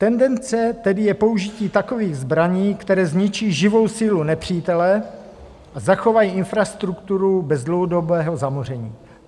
Tendence tedy je použití takových zbraní, které zničí živou sílu nepřítele a zachovají infrastrukturu bez dlouhodobého zamoření.